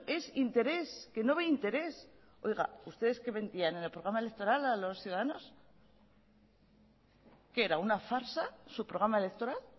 es interés que no ve interés oiga ustedes qué mentían en el programa electoral a los ciudadanos qué era una farsa su programa electoral